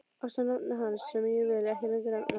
Ásamt nafni hans sem ég vil ekki lengur nefna.